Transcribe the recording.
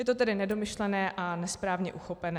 Je to tedy nedomyšlené a nesprávně uchopené.